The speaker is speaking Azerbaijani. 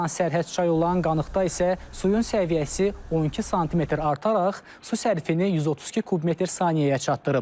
Transsərhəd çay olan Qanıqda isə suyun səviyyəsi 12 sm artaraq su sərfinin 132 kub metr saniyəyə çatdırıb.